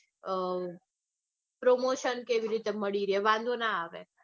અઅ promotion કેવી રીતે મળી રે વાંધો ના આવે.